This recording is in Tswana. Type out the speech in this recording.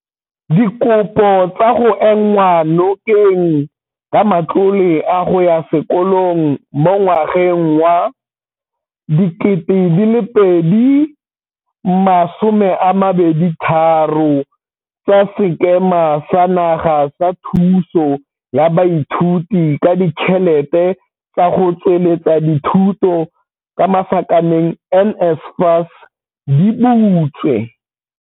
Dikopo tsa go enngwa nokeng ka matlole a go ya sekolong mo ngwageng wa 2023 tsa Sekema sa Naga sa Thuso ya Baithuti ka Ditšhelete tsa go Tsweletsa Dithuto, NSFAS, di butswe.